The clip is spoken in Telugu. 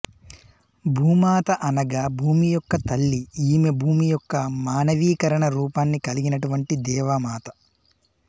భూమాత అనగా భూమి యొక్క తల్లి ఈమె భూమి యొక్క మానవీకరణ రూపాన్ని కలిగినటువంటి దేవమాత